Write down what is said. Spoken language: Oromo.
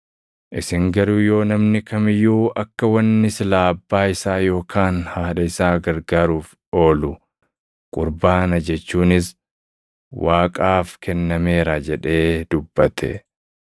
Isin garuu yoo namni kam iyyuu akka wanni silaa abbaa isaa yookaan haadha isaa gargaaruuf oolu Qurbaana jechuunis Waaqaaf kennameera jedhee dubbate,